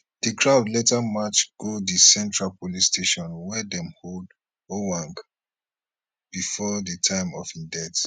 di crowd later march go di central police station wia dem hold ojwang bifor di time of im death